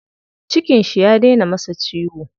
Cikin shi ya dena masa ciwo.